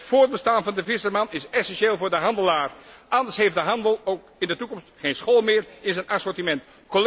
Het voortbestaan van de visserman is essentieel voor de handelaar, anders heeft de handel in de toekomst geen schol meer in zijn assortiment.